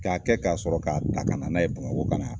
K'a kɛ ka sɔrɔ k'a ta ka na n'a ye bamakɔ ka na